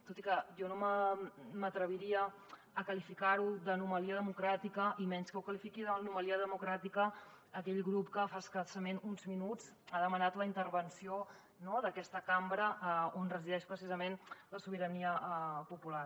tot i que jo no m’atreviria a qualificar ho d’ anomalia democràtica i menys que ho qualifiqui d’anomalia democràtica aquell grup que fa escassament uns minuts ha demanat la intervenció no d’aquesta cambra on resideix precisament la sobirania popular